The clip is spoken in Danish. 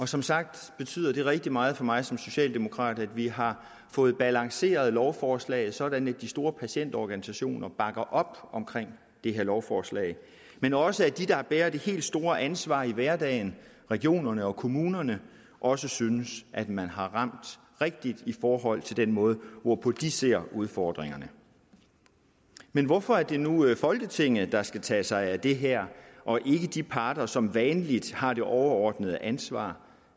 som sagt betyder det rigtig meget for mig som socialdemokrat at vi har fået balanceret lovforslaget sådan at de store patientorganisationer bakker op om det her lovforslag men også at de der bærer det helt store ansvar i hverdagen regionerne og kommunerne også synes man har ramt rigtigt i forhold til den måde hvorpå de ser udfordringerne men hvorfor er det nu folketinget der skal tage sig af det her og ikke de parter som vanligt har det overordnede ansvar